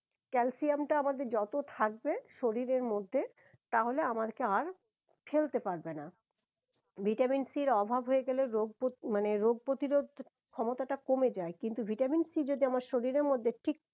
calcium টা আমাদের যত থাকবে শরীরের মধ্যে তাহলে আমারকে আর ফেলতে পারবে না ভিটামিন সির অভাব হয়ে গেলে রোগ প মানে রোগ প্রতিরোধ ক্ষমতাটা কমে যায় কিন্তু ভিটামিন সি যদি আমার শরীরের মধ্যে ঠিক